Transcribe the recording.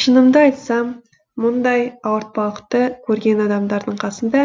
шынымды айтсам мұндай ауыртпалықты көрген адамдардың қасында